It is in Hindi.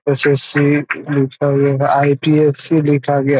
एस.एस.सी. लिखा गया है आई.पी.एस.सी. लिखा गया।